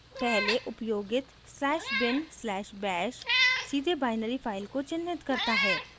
पहले उपयोगित /bin/bash सीधे binary file को चिन्हित करता है